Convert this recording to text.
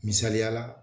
Misaliyala